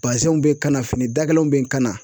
Bazɛnw bɛ n kanna fini dagɛlɛnw bɛ n kanna